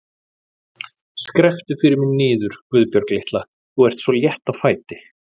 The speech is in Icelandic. Skrepptu fyrir mig niður, Guðbjörg litla, þú ert svo létt á fæti.